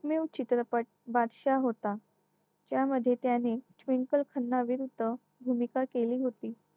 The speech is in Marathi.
new चित्रपट बादशा होता त्यामध्ये त्याने ट्वीनकल खन्ना विरुद्ध भूमिका केली होती